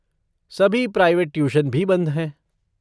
सभी private tuition भी बंद हैं।